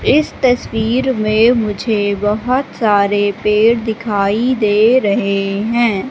इस तस्वीर में मुझे बहोत सारे पेड़ दिखाई दे रहे हैं।